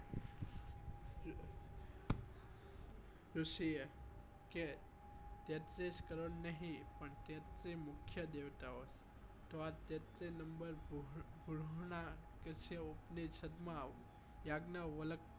ઋષિ એ કે તેત્રીસ કરોડ નહી પણ તેત્રી મુખ્ય દેવતાઓ છે તો આ તેત્રી નમ્બર ગ્રહો ના ઉપ્નેશીદીયો